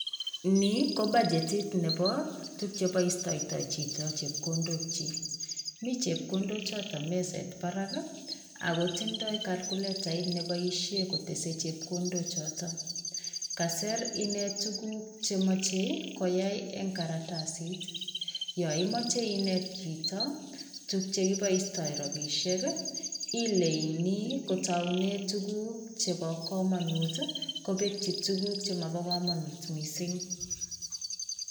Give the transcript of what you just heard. Nii ko budgetit nebo tukuk cheboishoito chito chepkondok chiik, mii chepkondok choton meset barakii ako tondoi kalkulatait neboishek kotesen chekondok chotok kasir inei tukukuk chemoche koyai en karatasit, yon imoche inet chito tuk chekiboishoito rabishek ileinii kotoune tukuk chebo komonut kobeki tukuk chemobo komonut missing.